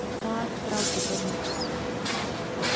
Þar drápu þeir mýs.